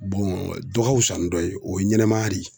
dɔ ka fisa ni dɔ ye, o ye ɲɛnɛmaya de ye.